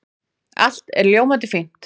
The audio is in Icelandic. Allt er ljómandi fínt.